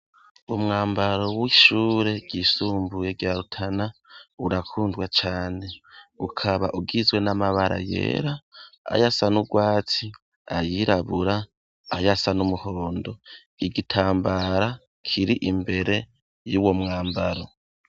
Umwambaro w'ishure ry'isumbuye rya rutana urakundwa cane ukaba ugizwe n'amabara yera, ayasa n'ubwatsi ayirabura, ayasa n'umuhondo ,igitambara kiri imbere y'uwo mwambaro.